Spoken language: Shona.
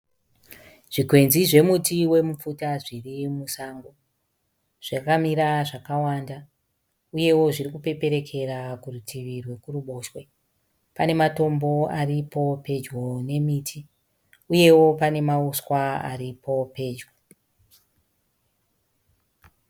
Zvikwenzi zvekuti wemupfuta zvirimusango. Zvakamira zvakawanda, uyewo zvirikupeperekera kurutivi rwekuruboshwe. Pane matombo aripo pedyo nemiti, uyewo panemauswa aripo pedyo.